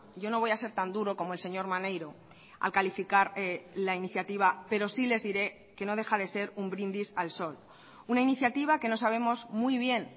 yo no voy a ser tan duro como el señor maneiro al calificar la iniciativa pero sí les diré que no deja de ser un brindis al sol una iniciativa que no sabemos muy bien